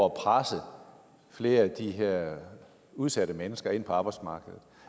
at presse flere af de her udsatte mennesker ind på arbejdsmarkedet